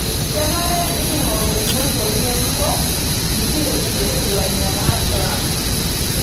Kenare niking'oru nkoitoi ng'ejuko nikiretie lainyang'ak lang'.